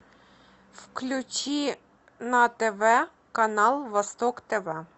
включи на тв канал восток тв